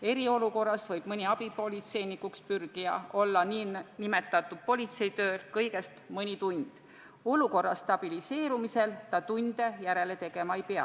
Eriolukorras võib mõni abipolitseinikuks pürgija teha politseitööd kõigest mõne tunni, kuid olukorra stabiliseerumisel ta tunde järele tegema ei pea.